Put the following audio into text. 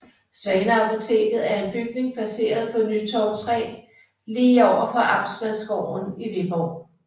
Svaneapoteket er en bygning placeret på Nytorv 3 lige overfor Amtmandsgården i Viborg